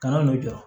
Kana n'i jɔ